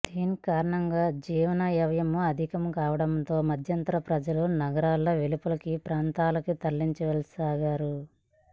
దీని కారణంగా జీవనవ్యము అధికము కావడముతో మధ్యతరగతి ప్రజల నగర వెలుపలి ప్రాంతాలకు తరలివెళ్ళసాగారు